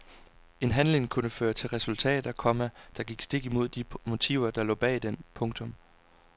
En handling kunne føre til resultater, komma der gik stik imod de motiver der lå bag den. punktum